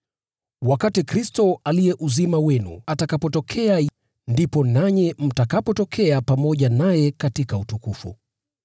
Wakati Kristo, aliye uzima wenu, atakapotokea, ndipo nanyi mtakapotokea pamoja naye katika utukufu.